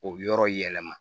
O yɔrɔ yɛlɛma